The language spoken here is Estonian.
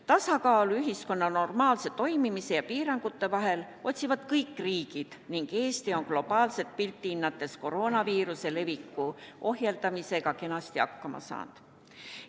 Tasakaalu ühiskonna normaalse toimimise ja piirangute vahel otsivad kõik riigid ning Eesti on globaalset pilti hinnates koroonaviiruse leviku ohjeldamisega kenasti hakkama saanud.